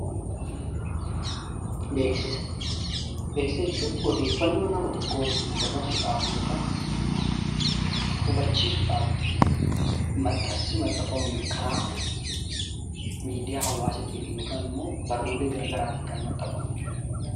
Beeksisa jechuun odeeffannoo nama tokkootiif dabarsuudhaaf yookiin hubachiisuudhaaf maxxansa maxxanfamu karaa miidiyaa hawaasaatiin yookiin barruu gara garaatiin maxxanfamu jechuudha.